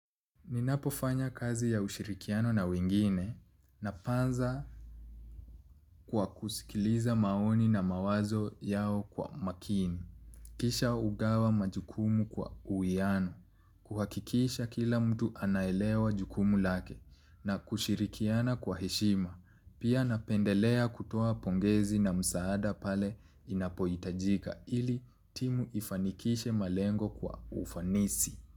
Ninapofanya kazi ya ushirikiano na wengine napanza kwa kusikiliza maoni na mawazo yao kwa makini. Kisha hugawa majukumu kwa uwiano. Kuhakikisha kila mtu anaelewa jukumu lake na kushirikiana kwa heshima. Pia napendelea kutoa pongezi na msaada pale inapohitajika ili timu ifanikishe malengo kwa ufanisi.